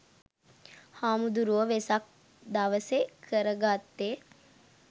හාමුදුරුවො වෙසක් දවසෙ කරගත්තෙ